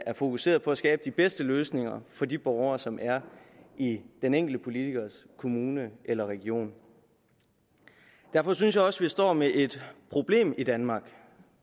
er fokuseret på at skabe de bedste løsninger for de borgere som er i den enkelte politikers kommune eller region derfor synes jeg også at vi står med et problem i danmark